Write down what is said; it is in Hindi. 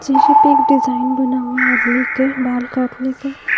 शीशे पे एक डिजाइन बना हुआ है आदमी के बाल काटने का।